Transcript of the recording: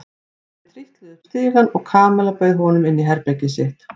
Þau trítluðu upp stigann og Kamilla bauð honum inn í herbergið sitt.